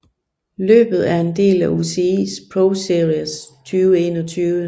Løbet er en del af UCI ProSeries 2021